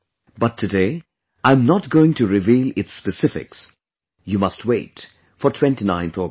But today I am not going to reveal its specifics; you must wait for 29thAugust